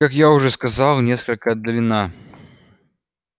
как я уже сказал несколько отдалена